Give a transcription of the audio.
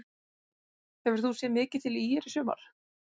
Hefur þú séð mikið til ÍR í sumar?